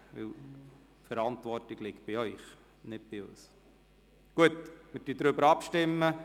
Denn die Verantwortung, dass Sie bei der Abstimmung dabei sind, liegt bei Ihnen und nicht bei uns.